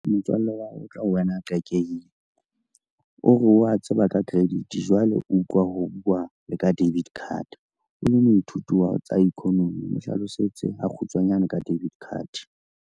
Motswalle wa hao o tla wena qakehile, o re wa tseba ka credit jwale o utlwa ho bua le ka debit card. O le moithuti wa tsa economy, o hlalosetse a kgutshwanyane ka debit card.